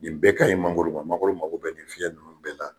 Nin bɛɛ ka ɲi mangoro ma mangoro mako bɛɛ nin fiɲɛ ninnu bɛɛ la